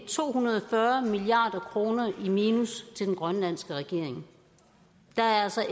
to hundrede og fyrre milliard kroner i minus til den grønlandske regering der er altså